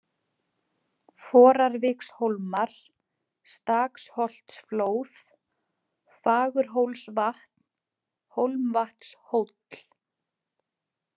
Forarvikshólmar, Staksholtsflóð, Fagurhólsvatn, Hólmavatnshóll